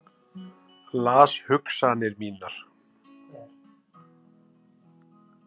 Las hugsanir mínar.